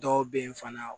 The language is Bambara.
Dɔw be yen fana